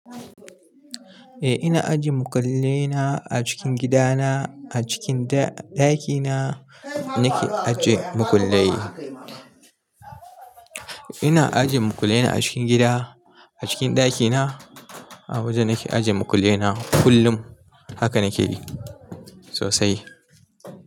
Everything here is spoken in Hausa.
Eh ina ajiye makullai na a cikin gidana, a cikin ɗakina nake ajiye makullai. Ina ajiye makullai na a cikin gida, a cikin ɗakina a waje nake ajiye makullai na kullum. Haka nake yi sosai.